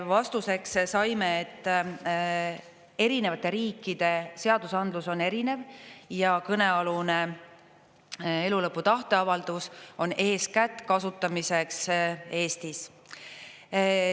Vastuseks saime, et erinevate riikide seadusandlus on erinev ja kõnealune elulõpu tahteavaldus on eeskätt kasutamiseks Eestis.